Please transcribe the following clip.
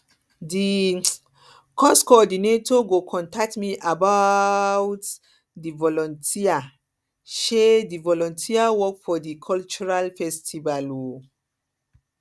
di um course coordinator go contact me about um di volunteer um di volunteer work for di cultural festival um